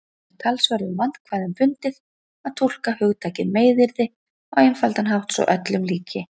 Það er talsverðum vandkvæðum bundið að túlka hugtakið meiðyrði á einfaldan hátt svo öllum líki.